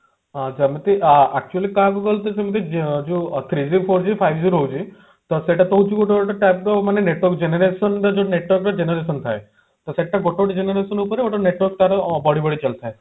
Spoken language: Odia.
ହଁ ଯେମିତି ଆଁ actually କହୁଛି ସେମତି ଯୋଉ ଯୋଉ three G ଆଉ five G ରହୁଛି ତ ସେଇଟା ତ ହଉଛି ଗୋଟେ type off ମାନେ network generation ର ଯୋଉ network ର generation ଥାଏ ତ ସେଟା ଗୋଟେ ଗୋଟେ generation ଉପରେ ଗୋଟେ network ତାର ବଢି ବଢି ଚାଲିଥାଏ